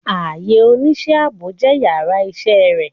Aiyè onisẹ́ aabo jẹ íyarà iṣẹ re